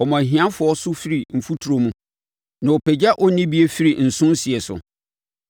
Ɔma ahiafoɔ so firi mfuturo mu na ɔpagya onnibie firi nso sie so;